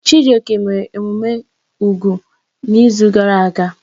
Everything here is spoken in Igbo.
Chijioke mere emume úgwù n'izu gara aga.